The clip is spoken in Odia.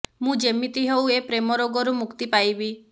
ମୁଁ ଯେମିତି ହେଉ ଏ ପ୍ରେମ ରୋଗରୁ ମୁକ୍ତି ପାଇବି